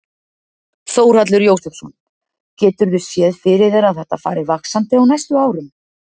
Þórhallur Jósefsson: Geturðu séð fyrir þér að þetta fari vaxandi á næstu árum?